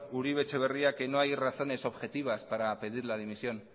uribe etxebarria que no hay razones objetivas para pedir la dimisión